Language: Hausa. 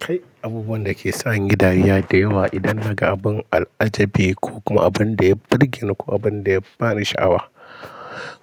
Kai abubuwan da ke sa in yi dariya da yawa idan naga abin al'ajabi ko kuma abin da ya burge ni ko abin da ya bani sha'awa